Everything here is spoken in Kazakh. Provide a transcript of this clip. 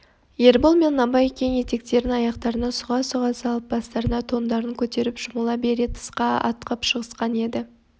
ербол мен абай кең етіктерін аяқтарына сұға-сұға салып бастарына тондарын көтеріп жамыла бере тысқа атқып шығысқан еді